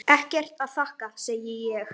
Ekkert að þakka, segi ég.